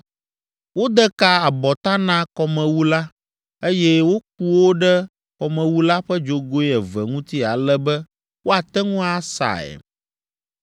Wode ka abɔta na kɔmewu la, eye woku wo ɖe kɔmewu la ƒe dzogoe eve ŋuti ale be woate ŋu asae.